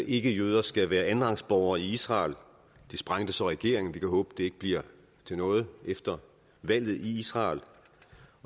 ikkejøder skal være andenrangsborgere i israel det sprængte så regeringen vi kan håbe det ikke bliver til noget efter valget i israel